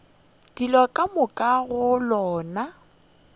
dilo ka moka go lona